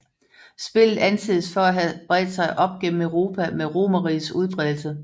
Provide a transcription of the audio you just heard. Spillet anses for at have bredt sig op gennem Europa med romerrigets udbredelse